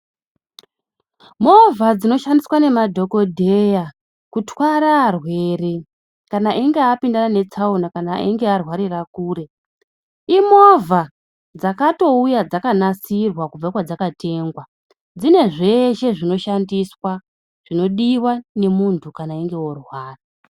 Movha dzinoshandiswa nemadhokodheya kutwara arwere kana eingeapindana netsaona kana einge arwarire kure imovha dzakatouya dzakanasirwa kubve kwadzakatengwa dzine zveshe zvinoshandiswa zvinodiwa nemuntu kan einge orwara.